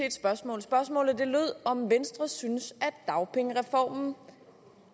et spørgsmål spørgsmålet lød om venstre synes at dagpengereformen